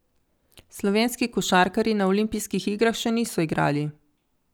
Slovenski košarkarji na olimpijskih igrah še niso igrali.